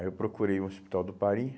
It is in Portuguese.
Aí eu procurei o Hospital do Pari...